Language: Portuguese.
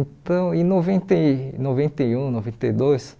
então em noventa e noventa e um, noventa e dois